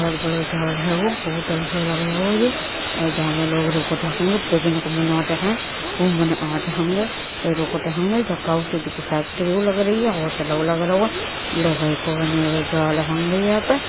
बड़ बड़ जहाज है वो बहुत अच्छा लग रहे हो। जहाँ पे लोग रुकते होंगे पिकनिक मनाते है वो मान हाज हैंगे रुकत होंगे ज का चीज फैक्ट्री लग राऊ है। होटल लग राऊ है लोहै को बने हुए जाल होंगे यहाँ पे ।